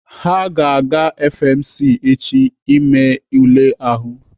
Ha ga-aga FMC echi ime ule ahụ.